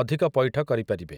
ଅଧିକ ପଇଠ କରିପାରିବେ ।